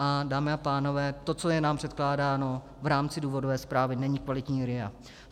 A dámy a pánové, to, co je nám předkládáno v rámci důvodové zprávy, není kvalitní RIA.